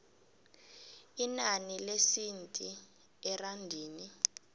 inani lesenthi erandini